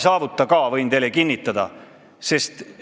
Võin teile kinnitada, et ei saavuta ka.